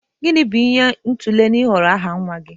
Gịnị bụ isi ihe a tụlere n'ịhọrọ aha nwa gị?